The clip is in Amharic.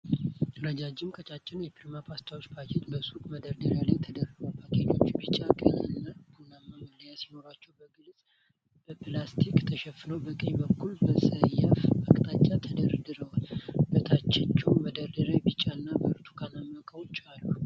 ረጃጅም፣ ቀጫጭን የፕሪሞ ፓስታ ፓኬጆች በሱቅ መደርደሪያዎች ላይ ተደርድረዋል። ፓኬጆቹ ቢጫ፣ ቀይ እና ቡናማ መለያዎች ሲኖራቸው፣ በግልጽ በፕላስቲክ ተሸፍነው በቀኝ በኩል በሰያፍ አቅጣጫ ተደርድረዋል፤ በታችኛው መደርደሪያም ቢጫና ብርቱካናማ እቃዎች አሉ።